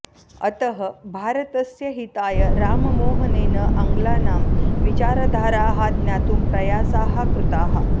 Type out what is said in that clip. अतः भारतस्य हिताय राममोहनेन आङ्ग्लानां विचारधाराः ज्ञातुं प्रयासाः कृताः